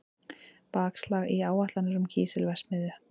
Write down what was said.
Bakslag í áætlanir um kísilverksmiðju